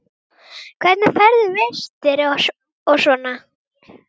Hvernig færðu vistir og svona?